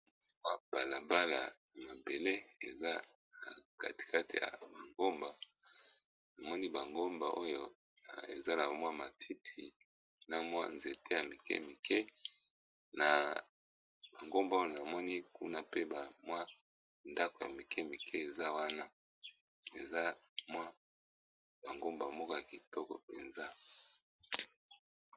Balabala ebele eza na katikati ya ba ngomba na moni ba ngomba oyo eza na mwa matiti na mwa nzete ya mike mike na bangomba oyo na moni kuna pe ba mwa ndako ya mike mike eza wana eza mwa bangomba moko ya kitoko mpenza.